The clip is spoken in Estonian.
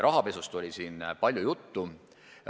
Rahapesust oli ka täna palju juttu.